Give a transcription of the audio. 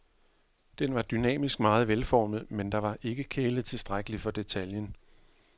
Den var dynamisk meget velformet, men der var ikke kælet tilstrækkeligt for detaljen, .